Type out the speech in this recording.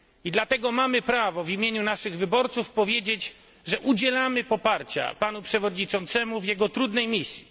Dlatego mamy prawo powiedzieć w imieniu naszych wyborców, że udzielamy poparcia panu przewodniczącemu w jego trudnej misji.